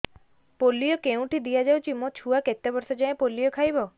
polio କେଉଁଠି ଦିଆଯାଉଛି ମୋ ଛୁଆ କେତେ ବର୍ଷ ଯାଏଁ ପୋଲିଓ ଖାଇବ